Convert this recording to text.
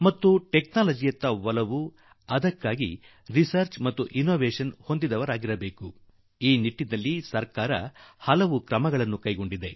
ತಂತ್ರಜ್ಞಾನ ಮತ್ತು ಸಂಶೋಧನೆ ಕುರಿತು ಆಸಕ್ತಿ ಇರಬೇಕು ಹಾಗೂ ಇದಕ್ಕಾಗಿ ಸರ್ಕಾರವೂ ಹಲವು ಕ್ರಮಗಳನ್ನು ಕೈಗೊಂಡಿದೆ